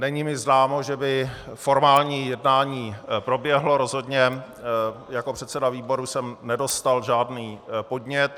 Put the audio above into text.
Není mi známo, že by formální jednání proběhlo, rozhodně jako předseda výboru jsem nedostal žádný podnět.